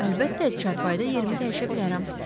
Əlbəttə, çarpayıda yerimi dəyişə bilərəm.